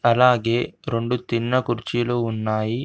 అలాగే రెండు తిన్న కుర్చీలు ఉన్నాయి.